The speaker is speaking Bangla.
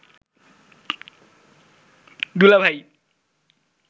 দুলাভাই